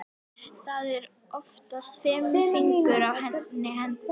Það eru oftast fimm fingur á einni hendi.